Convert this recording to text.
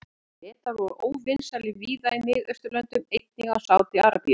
Bretar voru óvinsælir víða í Mið-Austurlöndum, einnig í Sádi-Arabíu.